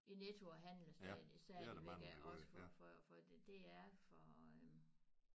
I Netto og handler stadig især de vil gerne også for for for det det er for